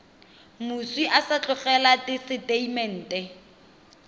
moswi a sa tlogela tesetamente